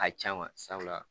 A caman sabula